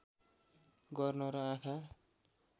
गर्न र आँखा